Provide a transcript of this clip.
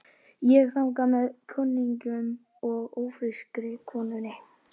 Ég þangað með kunningjum og ófrískri konunni.